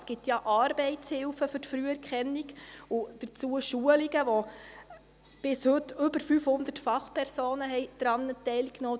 Es gibt ja Arbeitshilfen für die Früherkennung und Schulungen dazu, an denen bis heute über 500 Fachpersonen teilnahmen.